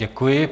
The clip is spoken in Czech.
Děkuji.